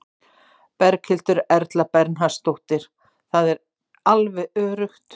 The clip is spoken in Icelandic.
Berghildur Erla Bernharðsdóttir: Það er alveg öruggt?